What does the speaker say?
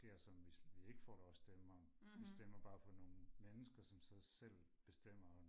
der sker som vi ikke får vores stemmer vi stemmer bare på nogle mennesker som så selv bestemmer om